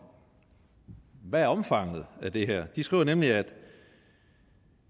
hvad omfanget af det her er de skriver nemlig at